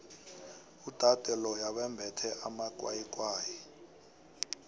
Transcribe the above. udade loya wembethe amakwayikwayi